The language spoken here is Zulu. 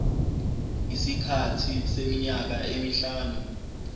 isikhathi seminyaka emihlanu